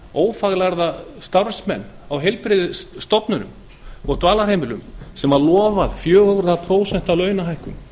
ófaglærða starfsmenn á heilbrigðisstofnunum og dvalarheimilum sem lofað var fjögurra prósenta launahækkun